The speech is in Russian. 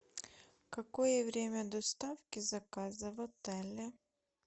какое время доставки заказа в отеле